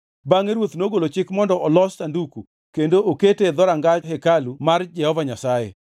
Bangʼe ruoth nogolo chik mondo olos sanduku, kendo okete e dhoranga hekalu mar Jehova Nyasaye.